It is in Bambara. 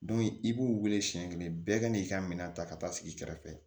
i b'u wele siɲɛ kelen bɛɛ ka n'i ka minan ta ka taa sigi i kɛrɛfɛ